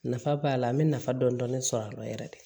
Nafa b'a la an bɛ nafa dɔɔni dɔɔni sɔrɔ a la yɛrɛ de